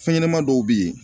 Fɛn ɲɛnɛman dɔw be yen.